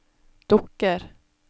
dukker